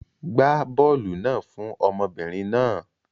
Gbá bọ́ọ́lù náà fún ọmọbìnrin náà.